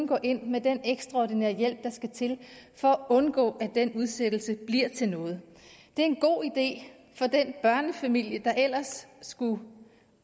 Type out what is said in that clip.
gå ind med den ekstraordinære hjælp der skal til for at undgå at den udsættelse bliver til noget det er en god idé for den børnefamilie der ellers skulle